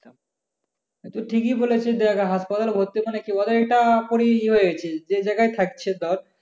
তুই ঠিকই বলেছিস যে আগে হাসপাতালে ভর্তি হয়ে মানে, কি বলে এইটা? পুরি ইয়ে হয়ে গেছে যেই যায়গায় থাকছে তোর,